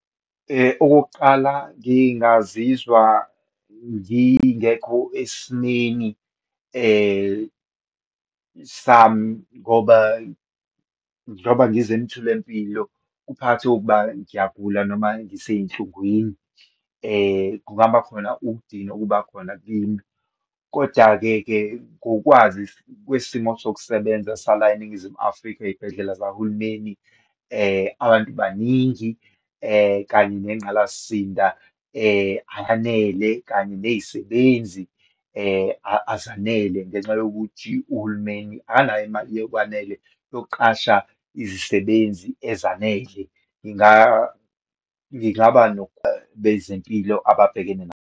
Okokuqala, ngingazizwa ngingekho esimeni sami ngoba, njengoba ngize emtholampilo kuphakathi kokuba ngiyagula noma ngiseyinhlungwini. Kungaba khona ukudinwa okuba khona kimi. Koda-ke ke, ngokwazi kwesimo sokusebenza sala eNingizimu Afrika eyibhedlela zahulumeni, abantu baningi kanye nengqalasinda ayanele kanye nezisebenzi azanele, ngenxa yokuthi uhulumeni akanayo imali yokwanele yokuoqasha izisebenzi ezanele. Ngingaba bezempilo ababhekene nazo.